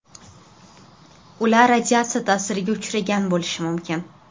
Ular radiatsiya ta’siriga uchragan bo‘lishi mumkin.